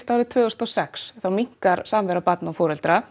árið tvö þúsund og sex minnkar samvera barna og foreldra